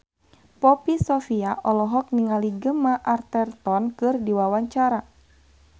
Poppy Sovia olohok ningali Gemma Arterton keur diwawancara